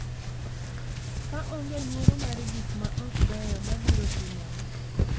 Ka onge luoro mar gik ma ok beyo mabiro timore.